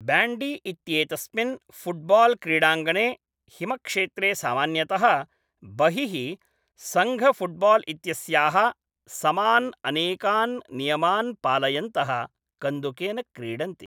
Bandy इत्येतस्मिन् football क्रीडाङ्गणे हिमक्षेत्रे सामान्यतः बहिः सङ्घफुट्बाल् इत्यस्याः समान् अनेकान् नियमान् पालयन्तः कन्दुकेन क्रीडन्ति।